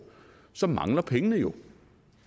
så mangler pengene jo